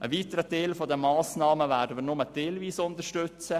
Einen weiteren Teil der Massnahmen werden wir nur teilweise unterstützen.